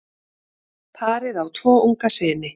Parið á tvo unga syni.